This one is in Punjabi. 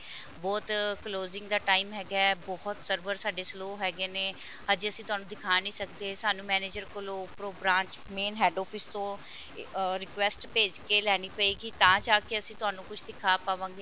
ਬਹੁਤ closing ਦਾ time ਹੈਗਾ ਬਹੁਤ server ਸਾਡੇ slow ਹੈਗੇ ਨੇ ਹਜੇ ਤੁਹਾਨੂੰ ਅਸੀਂ ਦਿਖਾ ਨਹੀਂ ਸਕਦੇ ਸਾਨੂੰ manager ਕੋਲੋਂ ਉੱਪਰੋ branch main head office ਤੋਂ ਅਹ request ਭੇਜ ਕੇ ਲੈਣੀ ਪਏਗੀ ਤਾਂ ਜਾਕੇ ਅਸੀਂ ਤੁਹਾਨੂੰ ਕੁੱਝ ਦਿਖਾ ਪਾਵਾਂਗੇ